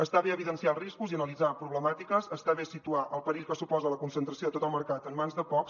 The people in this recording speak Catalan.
està bé evidenciar els riscos i analitzar problemàtiques està bé situar el perill que suposa la concentració de tot el mercat en mans de pocs